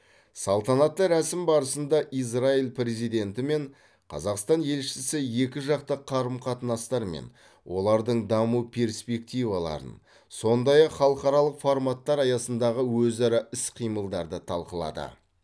салтанатты рәсім барысында израиль президенті мен қазақстан елшісі екіжақты қарым қатынастар мен олардың даму перспективаларын сондай ақ халықаралық форматтар аясындағы өзара іс қимылдарды талқылады